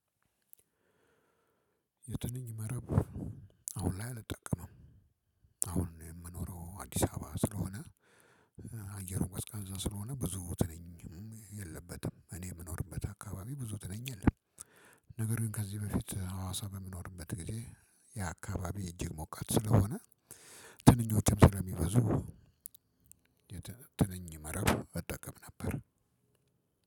የትንኝ መረብ አሁን ላይ አልጠቅምም። አሁን የምኖረው አዲስ አበባ ስለሆነ አየሩ ቀዝቃዛ ስለሆነ ብዙ ትንኝም የለበትም እኔ የምኖርበት አካባቢ ብዙ ትንኝ የለም። ነገር ግን ከዚህ በፊት ሀዋሳ በምኖርበት ጊዜ ያ አካባቢ እጅግ ሞቃት ስለሆነ ትንኞችም ስለሚበዙ። ትንኝ መረብ እጠቀም ነበር።